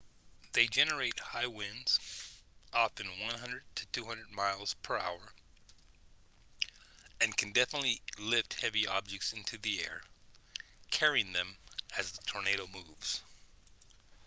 they generate high winds often 100-200 miles/hour and can lift heavy objects into the air carrying them as the tornado moves